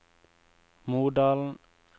Modalen